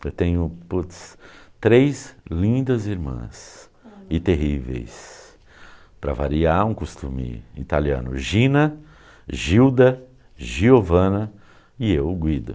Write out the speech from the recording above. Eu tenho puts, três lindas irmãs e terríveis, para variar um costume italiano, Gina, Gilda, Giovanna e eu, Guido.